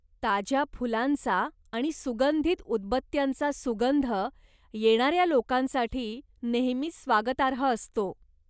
ताज्या फुलांचा आणि सुगंधित उदबत्त्यांचा सुगंध येणाऱ्या लोकांसाठी नेहमीच स्वागतार्ह असतो.